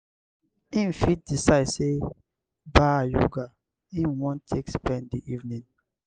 im fit decide sey ba yoga im wan take spend di evening